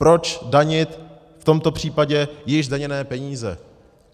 Proč danit v tomto případě již zdaněné peníze?